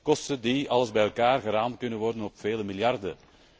kosten die alles bij elkaar geraamd kunnen worden op vele miljarden.